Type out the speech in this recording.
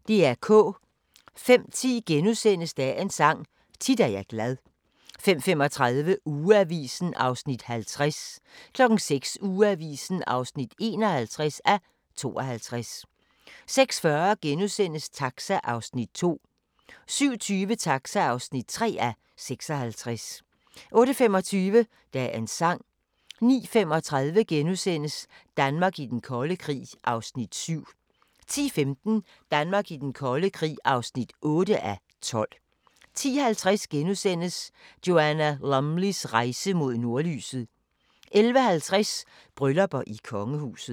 05:10: Dagens Sang: Tit er jeg glad * 05:35: Ugeavisen (50:52) 06:00: Ugeavisen (51:52) 06:40: Taxa (2:56)* 07:20: Taxa (3:56) 08:25: Dagens sang 09:35: Danmark i den kolde krig (7:12)* 10:15: Danmark i den kolde krig (8:12) 10:50: Joanna Lumleys rejse mod nordlyset * 11:50: Bryllupper i kongehuset